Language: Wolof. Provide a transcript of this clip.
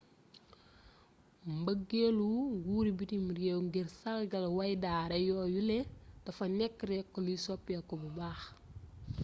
mbëggeelu nguuri bitim réew ngir sàrgal wayndaare yooyule dafa nekk rekk luy soppeeku bu baax